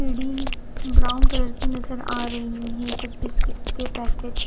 bidi brown colour की नज़र आ रही है कुछ बिस्किट्स के पेकेट्स --